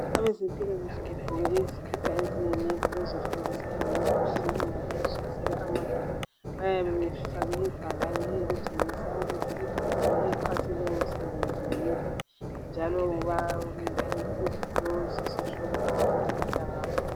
Abezempilakahle begqoke izikipa eziyi "navy " bezofundisa ngemikhuhlane engabe ihlasela amadoda. Bayabe befke ibhakane elitshengisa ukuthi i"company" exhase lowomsebenzi yiphi njalo yiwuphi lesi isihloko abafundisa ngaso.